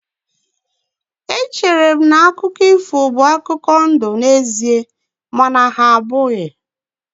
Echere m na akụkọ ifo bụ akụkọ ndụ n'ezie mana ha abụghị.